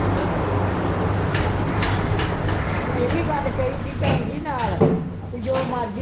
ਓਹਨੇ ਏ ਵੀ ਗੱਲ ਕਹੀ ਸੀ ਭੈਣਜੀ ਨਾਲ, ਪਈ ਜੋ ਮਰਜੀ